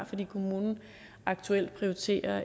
fordi kommunen aktuelt prioriterer